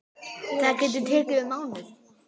Það getur tekið um mánuð.